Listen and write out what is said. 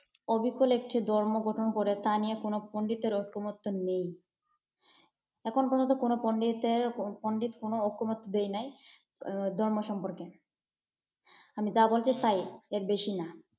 অবিকল একটি ধর্ম গঠন করে, তা নিয়ে কোন পণ্ডিতের ঐকমত্য নেই। এখন পর্যন্ত কোন পণ্ডিতের পণ্ডিত কোন ঐকমত্য দেয় নাই ধর্ম সম্পর্কে। আমি যা বলছি তাই, এর বেশি না।